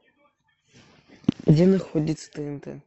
где находится тнт